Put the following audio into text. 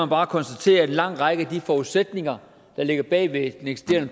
bare konstatere at en lang række af de forudsætninger der ligger bag ved